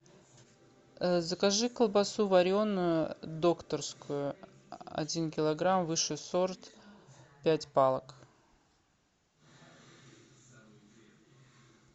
закажи колбасу вареную докторскую один килограмм высший сорт пять палок